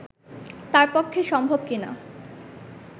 তাঁর পক্ষে সম্ভব কি না